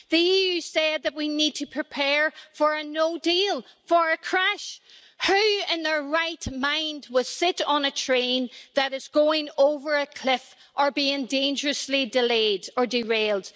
The EU has said that we need to prepare for a no deal, for a crash. Who in their right mind would sit on a train that is going over a cliff or being dangerously delayed or derailed?